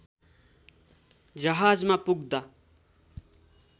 जहाजमा पुग्दा